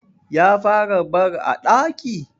Ya fara barc a ɗaki?